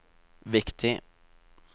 viktig